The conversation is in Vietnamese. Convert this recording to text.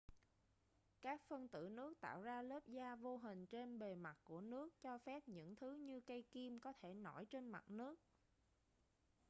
các phân tử nước tạo ra lớp da vô hình trên bề mặt của nước cho phép những thứ như cây kim có thể nổi trên mặt nước